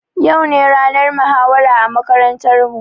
Yau ne ranar muhawara a makarantar mu